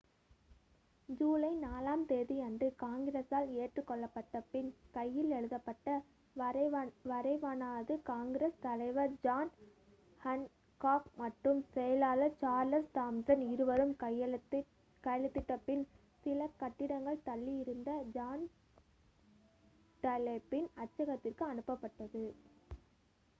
ஜூலை 4 ஆம் தேதி அன்று காங்கிரசால் ஏற்றுக் கொள்ளப்பட்ட பின் கையால் எழுதப்பட்ட வரைவானது காங்கிரஸ் தலைவர் ஜான் ஹான்காக் மற்றும் செயலாளர் சார்லஸ் தாம்சன் இருவரும் கையெழுத்திட்ட பின் சில கட்டிடங்கள் தள்ளி இருந்த ஜான் டன்லப்பின் அச்சகத்திற்கு அனுப்பப்பட்டது